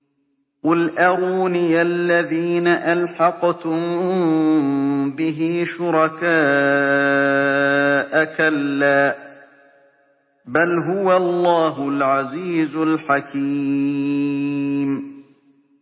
قُلْ أَرُونِيَ الَّذِينَ أَلْحَقْتُم بِهِ شُرَكَاءَ ۖ كَلَّا ۚ بَلْ هُوَ اللَّهُ الْعَزِيزُ الْحَكِيمُ